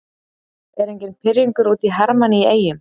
Er enginn pirringur út í Hermann í Eyjum?